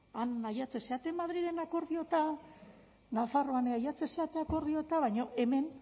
han ailegatzen zareten madriden akordio eta nafarroan ailegatzen zarete akordio eta baina hemen